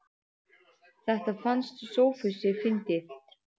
Þetta fannst Sófusi fyndið.